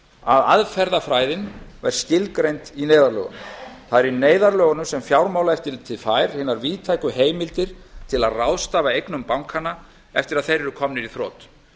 að aðferðafræðin var skilgreind í neyðarlögunum það er í neyðarlögunum sem fjármálaeftirlitið fær hinar víðtæku heimildir til að ráðstafa eignum bankanna eftir að þeir eru komnir í þrot